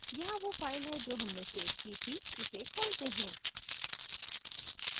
यहाँ वो file है जो हमने सेव की थी इसे खोलते हैं